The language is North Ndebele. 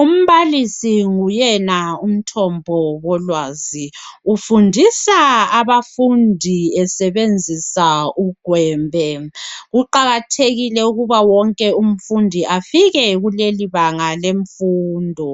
umbalisi nguyena umthombi wolwazi Ufundisa abafundi esebenzisa ugwembe kuqakathekile ukuba wonke umfundi afike kuleli baga lemfundo